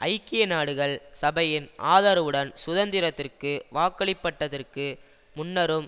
ஐக்கிய நாடுகள் சபையின் ஆதரவுடன் சுதந்திரத்திற்கு வாக்களிபட்டதற்கு முன்னரும்